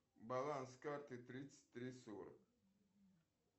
баланс карты тридцать три сорок